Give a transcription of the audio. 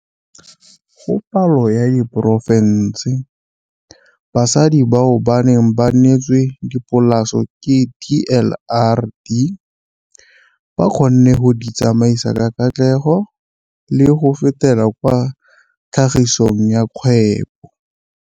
Go palo ya diporofense, basadi bao ba neng ba neetswe dipolase ke DLRD ba kgonne go di tsamaisa ka katlego le go fetela kwa tlhagisong ya kgwebo.